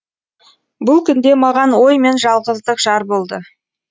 бұл күнде маған ой мен жалғыздық жар болды